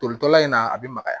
Tolitɔla in na a bɛ magaya